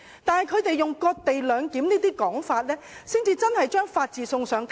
他們提出"割地兩檢"的說法才是真正摧毀法治。